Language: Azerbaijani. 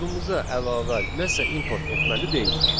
Kodumuza əlavə nəsə import etməli deyilik.